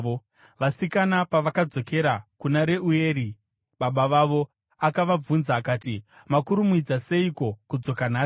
Vasikana pavakadzokera kuna Reueri baba vavo, akavabvunza akati, “Makurumidza seiko kudzoka nhasi?”